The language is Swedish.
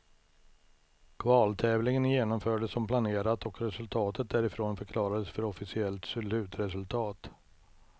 Kvaltävlingen genomfördes som planerat och resultatet därifrån förklarades för officiellt slutresultat.